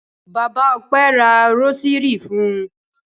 Bàbá Ọpẹ́ ra rósírì fún un.